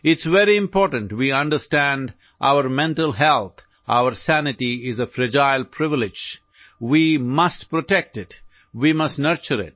It's very important we understand our mental health, our sanity is a fragile privilege; we must protect it; we must nurture it